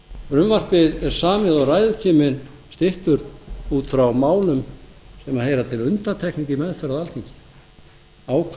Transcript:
frumvarpið er samið og ræðutíminn styttur út frá málum sem heyra til undantekninga í meðferð á alþingi ákveðnum